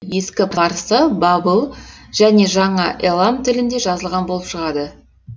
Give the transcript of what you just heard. ескі парсы бабыл және жаңа элам тілінде жазылған болып шығады